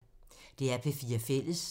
DR P4 Fælles